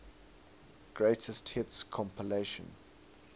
greatest hits compilation